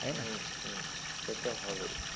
তাই না? হু হু। সেতো হবেই।